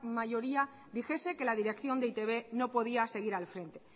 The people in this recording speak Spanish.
mayoría dijese que la dirección de e i te be no podía seguir al frente